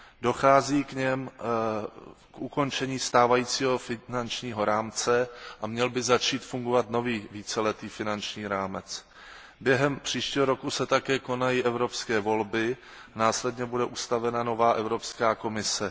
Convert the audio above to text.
Dochází v něm k ukončení stávajícího finančního rámce a měl by začít fungovat nový víceletý finanční rámec. Během příštího roku se také konají evropské volby, následně bude ustanovena nová Evropská komise.